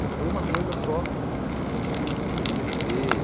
Não foi uma coisa só o cê cê cê